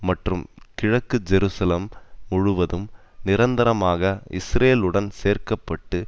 மற்றும் கிழக்கு ஜெருசலம் முழுவதும் நிரந்தரமாக இஸ்ரேலுடன் சேர்க்க பட்டு